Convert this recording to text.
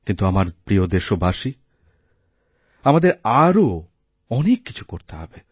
কিন্তু আমার প্রিয়দেশবাসী আমাদের আরও অনেক কিছু করতে হবে